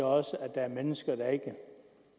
og så er der mennesker der ikke